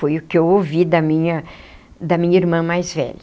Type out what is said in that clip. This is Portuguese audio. Foi o que eu ouvi da minha da minha irmã mais velha.